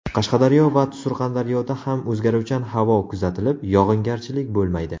Qashqadaryo va Surxondaryoda ham o‘zgaruvchan havo kuzatilib, yog‘ingarchilik bo‘lmaydi.